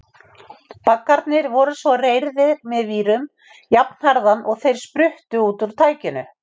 Baggarnir voru svo reyrðir með vírum jafnharðan og þeir spruttu út úr tækinu.